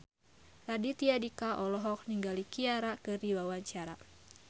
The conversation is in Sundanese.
Raditya Dika olohok ningali Ciara keur diwawancara